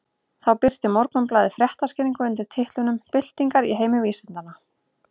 Þá birti Morgunblaðið fréttaskýringu undir titlinum Byltingar í heimi vísindanna.